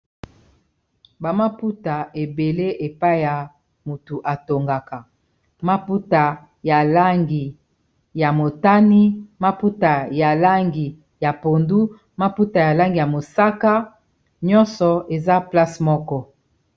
ba maputa ebele epai ya motu atongaka, maputa ya langi ya motani, maputa ya langi ya pondu, maputa ya langi ya mosaka, nyonso eza place moko.